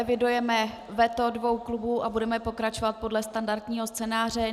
Evidujeme veto dvou klubů a budeme pokračovat podle standardního scénáře.